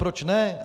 Proč ne?